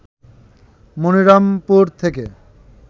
মনিরামপুর থেকে